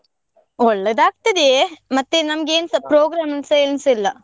ಒಳ್ಳೇದು ಆಗ್ತದೆ, ಮತ್ತೆ ನಮ್ಗೆ ಏನ್ಸಾ program ಸ ಏನ್ಸಾ ಇಲ್ಲ.